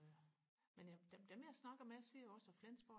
men dem jeg snakker med siger også at Flensborg